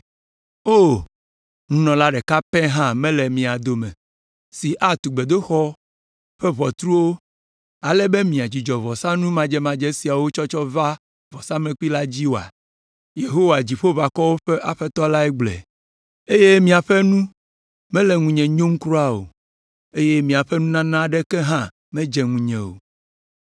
“O, nunɔla ɖeka pɛ hã mele mia dome si atu gbedoxɔ ƒe ʋɔtruwo, ale be miadzudzɔ vɔsanu madzemadze siawo tsɔtsɔ va vɔsamlekpui la dzi oa?” Yehowa, Dziƒoʋakɔwo ƒe Aƒetɔ lae gblɔe, “eye miaƒe nu mele ŋunye nyom kura o, eye miaƒe nunana aɖeke hã medze ŋunye o.